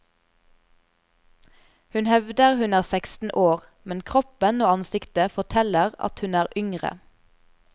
Hun hevder hun er seksten år, men kroppen og ansiktet forteller at hun er yngre.